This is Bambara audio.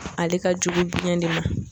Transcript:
Ale ka jugu biyɛn de ma.